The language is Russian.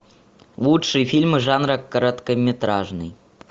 лучшие фильмы жанра короткометражный